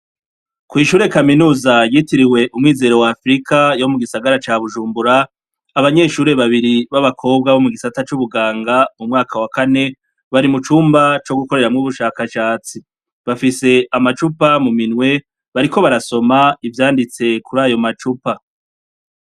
Ku ishure kaminuza yitiriwe Umwizero wa Afrika yo mu gisagara ca Bujumbura, abanyeshure babiri b'abakobwa bo mu gisata c'ubuganga mu mwaka wa kane bari mu cumba co gukoreramwo ubushakashatsi, bafise amacupa mu minwe bariko barasoma ivyanditse kuri ayo macupa.